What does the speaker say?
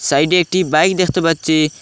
সাইডে একটি বাইক দেখতে পাচ্ছি।